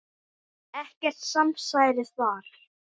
Ekkert samsæri þar.